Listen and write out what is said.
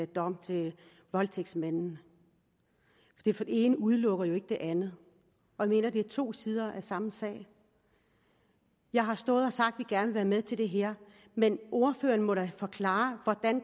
dom til voldtægtsmanden for det ene udelukker jo ikke det andet jeg mener det er to sider af samme sag jeg har stået og sagt at vil være med til det her men ordføreren må da forklare hvordan